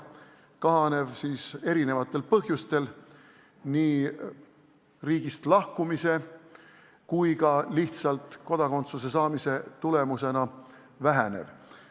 Kahanev siis erinevatel põhjustel, nii riigist lahkumise kui ka lihtsalt kodakondsuse saamise tulemusena vähenev.